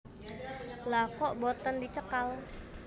Lha kok boten dicekal